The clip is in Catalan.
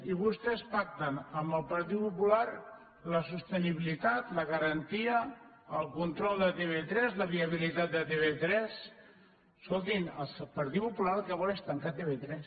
i vostès pacten amb el partit popular la sostenibilitat la garantia el control de tv3 la viabilitat de tv3 escoltin el partit popular el que vol és tancar tv3